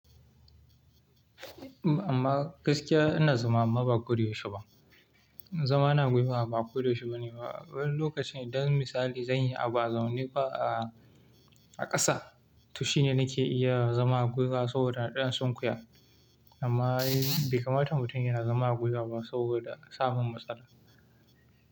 Amma gaskiya ina zama amma ba koda yaushe ba. Zama a gwiwa ba koyaushe ba ne ba. Wani lokacin, idan misali, zanyi abu azaune ba ah a ƙasa, to shine nake iya zama a gwiwa saboda in ɗan sunkiya. Amma bai kamata mutum yana zama a gwiwa ba saboda samun matsala.